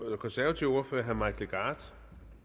konservative ordfører herre mike legarth